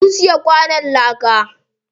Mun siya kwanon láka.